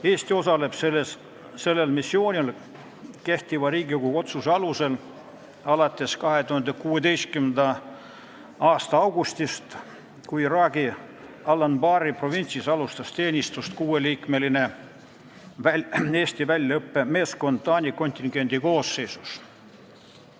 Eesti osaleb sellel missioonil Riigikogu otsuse alusel alates 2016. aasta augustist, kui Iraagi Al-Anbari kubernerkonnas alustas teenistust kuueliikmeline Eesti väljaõppemeeskond Taani kontingendi koosseisus.